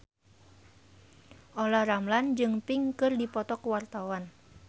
Olla Ramlan jeung Pink keur dipoto ku wartawan